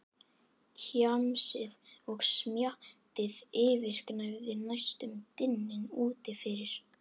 Kjamsið og smjattið yfirgnæfði næstum dyninn úti fyrir.